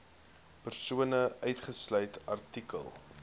persone uitgesluit artikel